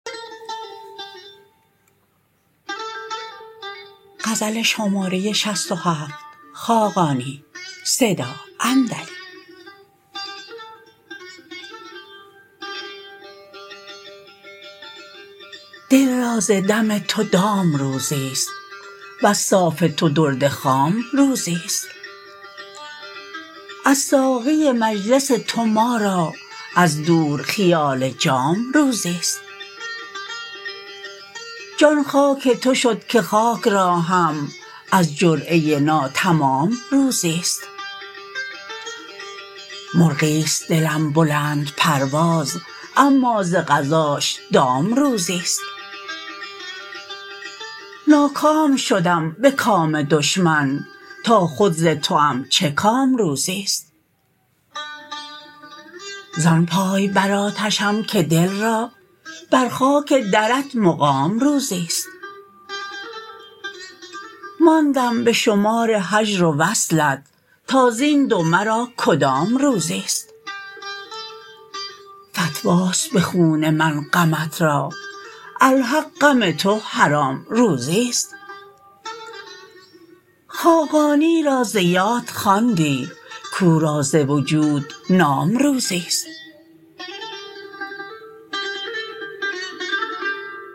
دل را ز دم تو وام روزی است وز صاف تو درد خام روزی است از ساقی مجلس تو ما را از دور خیال جام روزی است جان خاک تو شد که خاک را هم از جرعه ناتمام روزی است مرغی است دلم بلندپرواز اما ز قضاش دام روزی است ناکام شدم به کام دشمن تا خود ز توام چه کام روزی است زان پای بر آتشم که دل را بر خاک درت مقام روزی است ماندم به شمار هجر و وصلت تا زین دو مرا کدام روزی است فتواست به خون من غمت را الحق غم تو حرام روزی است خاقانی را ز یاد خواندی کورا ز وجود نام روزی است